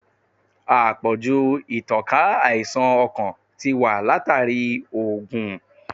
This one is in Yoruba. Àpọ̀jù ìtànká àìsàn ọkàn ti wà látàrí oògun.